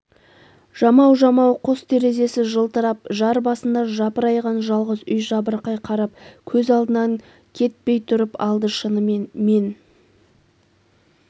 жамау-жамау қос терезесі жылтырап жар басында жапырайған жалғыз үй жабырқай қарап көз алдынан кетпей тұрып алды шынымен мен